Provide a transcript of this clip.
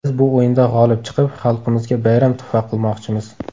Biz bu o‘yinda g‘olib chiqib, xalqimizga bayram tuhfa qilmoqchimiz.